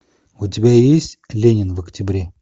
у тебя есть ленин в октябре